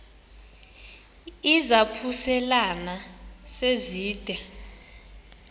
izaphuselana se zide